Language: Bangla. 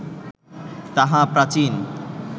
তাহা প্রাচীন